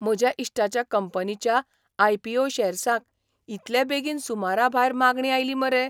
म्हज्या इश्टाच्या कंपनीच्या आय. पी. ओ. शॅर्सांक इतले बेगीन सुमराभायर मागणी आयली मरे!